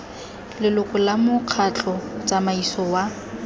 leloko la mokgatlho tsamaiso wa